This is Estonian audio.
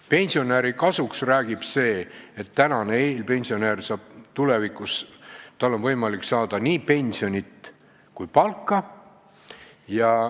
Pensionäri kasuks räägib see, et ka eelpensionäril on tulevikus võimalik saada nii pensionit kui palka.